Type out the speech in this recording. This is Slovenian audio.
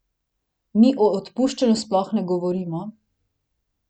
Mi o odpuščanju sploh ne govorimo.